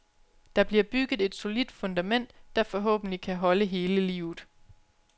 Der bliver bygget et solidt fundament, der forhåbentlig kan holde hele livet.